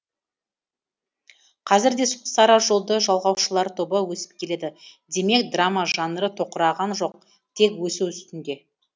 қазір де сол сара жолды жалғаушылар тобы өсіп келеді демек драма жанры тоқыраған жоқ тек өсу үстінде